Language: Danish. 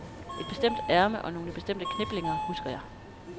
Et bestemt ærme og nogle bestemte kniplinger husker jeg.